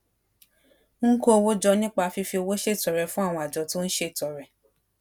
ń kó owó jọ nípa fífi owó ṣètọrẹ fún àwọn àjọ tó ń ṣètọrẹ